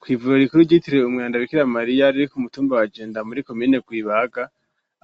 Kw'ivuriro rikuru ryitiriwe umweranda Bikiramariya, riri k'umutumba wa jenda muri komine rwibaga,